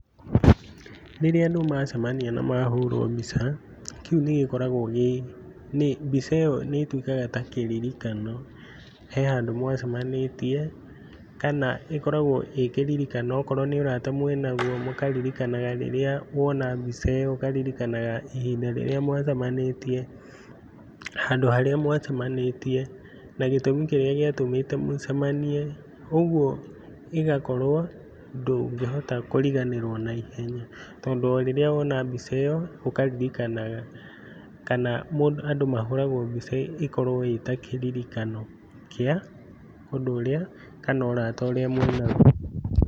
Rĩrĩa andũ macemania na mahũrwo mbica, kĩu nĩgĩkoragwo gĩ, mbica ĩyo nĩtuĩkaga ta kĩririkano he handũ mwacemanĩtie, kana ĩkoragwo ĩ kĩririkano akorwo nĩ ũrata mwĩnaguo mũkaririkanaga rĩrĩa wona mbica ĩyo, ũkaririkanaga ihinda rĩrĩa mwacemanĩtie, handũ harĩa mwacemanĩtie na gĩtũmi kĩrĩa gíĩtũmĩte mũcemanie, ũguo ĩgakorwo ndũngĩhota kũriganĩrwo naihenya, tondũ o rĩrĩa wona mbica ‘ĩyo ũkaririkanaga, kana andũ mahũragwo mbica ĩkorwo ĩta kĩririkano kĩa ũndũ ũrĩa kana ũrata ũrĩa mwĩnaguo.